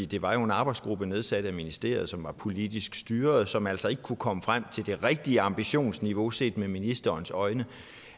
det var jo en arbejdsgruppe nedsat af ministeriet som var politisk styret og som altså ikke kunne komme frem til det rigtige ambitionsniveau set med ministerens øjne